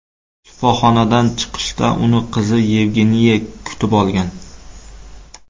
Shifoxonadan chiqishda uni qizi Yevgeniya kutib olgan.